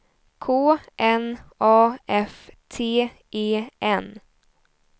K N A F T E N